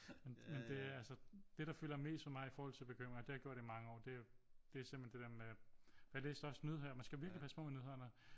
Men det altså det der fylder mest for mig i forhold til bekymringer det har det gjort i mange år det er simpelthen det der med for jeg læste også nyheder men skal virkelig passe på med nyhederne